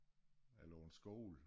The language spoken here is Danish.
Eller en skole